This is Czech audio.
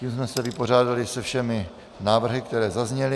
Tím jsme se vypořádali se všemi návrhy, které zazněly.